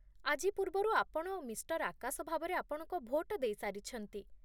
ଆଜି ପୂର୍ବରୁ ଆପଣ ମିଃ. ଆକାଶ ଭାବରେ ଆପଣଙ୍କ ଭୋଟ ଦେଇସାରିଛନ୍ତି